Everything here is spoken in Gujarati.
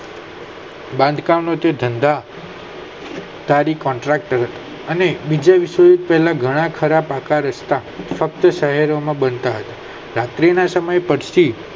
બંધાણકામ ના ધંધા તારી CONTRACT અને બીજા ઘણા ખરા પાક રસ્તા શક્તિ શહેરો માં બનતા હતા રાત્રી ના સમય પછી